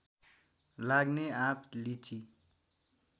लाग्ने आँप लिची